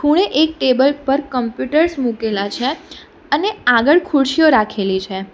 ખૂણે એક ટેબલ પર કમ્પ્યુટર્સ મુકેલા છે અને આગળ ખુરશીઓ રાખેલી છે.